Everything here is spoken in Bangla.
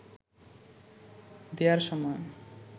দেয়ার সময়